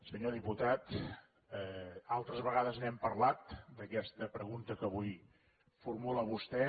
senyor diputat altres vegades n’hem parlat d’aquesta pregunta que avui formula vostè